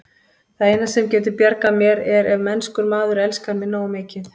Það eina, sem getur bjargað mér, er ef mennskur maður elskar mig nógu mikið.